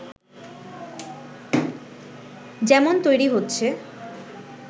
যেমন তৈরী হচ্ছে